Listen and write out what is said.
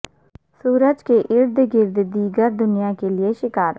سورج کے ارد گرد دیگر دنیا کے لئے شکار